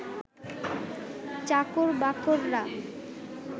চাকর-বাকররা